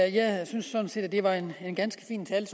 jeg synes sådan set at det var en ganske fin tale